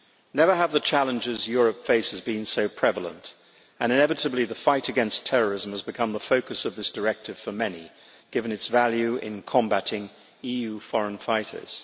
Never have the challenges Europe faces been so prevalent, and inevitably the fight against terrorism has become the focus of this directive for many, given its value in combating EU foreign fighters.